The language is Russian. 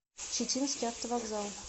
читинский автовокзал